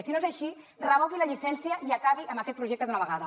i si no és així revoqui la llicència i acabi amb aquest projecte d’una vegada